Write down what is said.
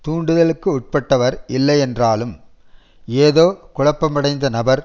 தூண்டுதலுக்கு உட்பட்டவர் இல்லையென்றாலும் ஏதோ குழப்பமடைந்த நபர்